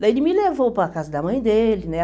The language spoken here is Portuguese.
Daí ele me levou para casa da mãe dele, né?